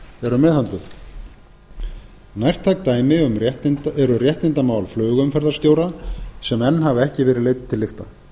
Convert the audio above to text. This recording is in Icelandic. eru meðhöndluð nærtæk dæmi eru réttindamál flugumferðarstjóra sem enn hafa ekki verið leidd til lykta